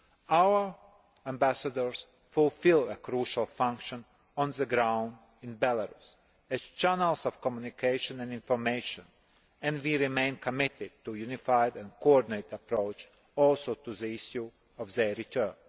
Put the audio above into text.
Our ambassadors fulfil a crucial function on the ground in Belarus as channels of communication and information and we remain committed to a unified and coordinated approach also to the issue of their return.